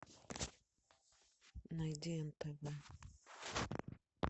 найди нтв